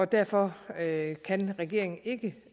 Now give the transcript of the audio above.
derfor kan kan regeringen ikke